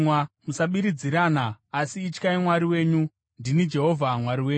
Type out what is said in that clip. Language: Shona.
Musabiridzirana, asi ityai Mwari wenyu. Ndini Jehovha Mwari wenyu.